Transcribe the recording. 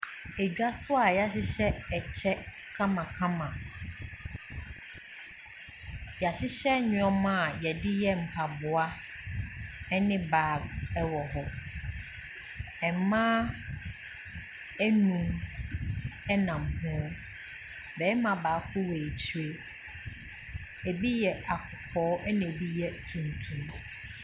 Edwa so a y'ahyehyɛ ɛkyɛ kamakama. Y'ahyehyɛ nnoɔma a yɛde yɛ mpaboa ɛne bag ɛwɔ hɔ. Ɛmmaa enum ɛnam hoo. Bɛɛma baako wɔ akyire, ebi yɛ akɔkɔɔ ɛna ebi yɛ tuntum.